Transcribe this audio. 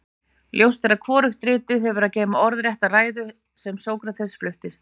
ljóst er að hvorugt ritið hefur að geyma orðrétta ræðuna sem sókrates flutti